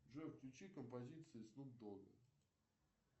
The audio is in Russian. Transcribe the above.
джой включи композиции снуп дога